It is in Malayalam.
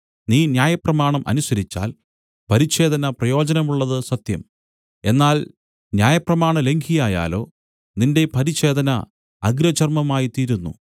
നീ ന്യായപ്രമാണം അനുസരിച്ചാൽ പരിച്ഛേദന പ്രയോജനമുള്ളതു സത്യം എന്നാൽ ന്യായപ്രമാണലംഘിയായാലോ നിന്റെ പരിച്ഛേദന അഗ്രചർമമായിത്തീരുന്നു